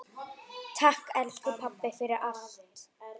Takk, elsku pabbi, fyrir allt.